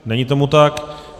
Není tomu tak.